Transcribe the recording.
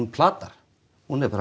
plata hún er bara